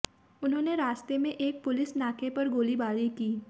उन्होंने रास्ते में एक पुलिस नाके पर गोलीबारी की